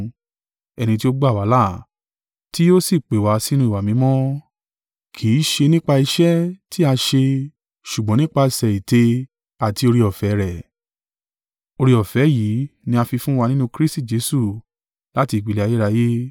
ẹni ti ó gbà wá là, ti ó si pè wá sínú ìwà mímọ́—kì í ṣe nípa iṣẹ́ tí a ṣe ṣùgbọ́n nípasẹ̀ ète àti oore-ọ̀fẹ́ rẹ̀. Oore-ọ̀fẹ́ yìí ni a fi fún wa nínú Kristi Jesu láti ìpìlẹ̀ ayérayé,